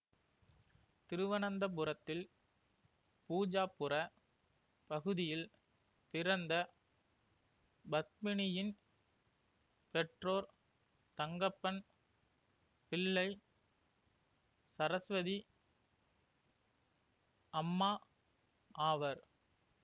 திருவனந்தபுரத்தில் பூஜாப்புர பகுதியில் பிறந்த பத்மினியின் பெற்றோர் தங்கப்பன் பிள்ளை சரஸ்வதி அம்மா ஆவர்